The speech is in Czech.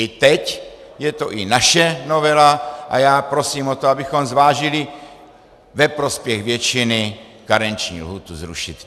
I teď je to i naše novela a já prosím o to, abychom zvážili ve prospěch většiny karenční lhůtu zrušit.